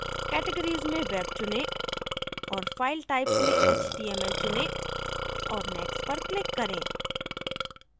categories में web चुनें और file types में html चुनें और next पर click करें